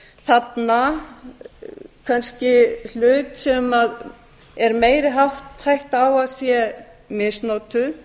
þarna kannski hlut sem er meiri hætta á að sé misnotaður